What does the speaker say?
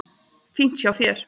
Fínt hjá þér.